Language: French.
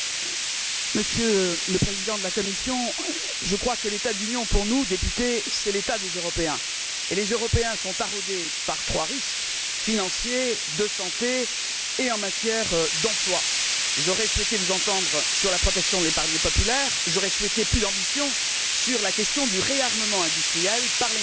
Monsieur le Président, Monsieur le Président de la Commission, je crois que l'état de l'Union, pour nous députés, c'est l'état des Européens. Les Européens sont taraudés par trois risques financier, de santé et en matière d'emploi. J'aurais souhaité vous entendre sur la protection de l'épargne populaire. J'aurais souhaité plus d'ambition sur la question du réarmement industriel par l'énergie,